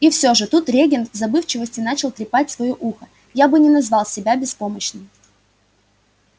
и все же тут регент в забывчивости начал трепать своё ухо я бы не назвал себя беспомощным